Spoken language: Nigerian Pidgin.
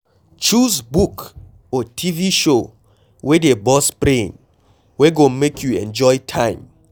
Choose book or TV show wey dey burst brain, wey go make you enjoy your time